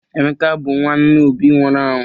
Emeka bụ nwanna Obi nwụrụ anwụ.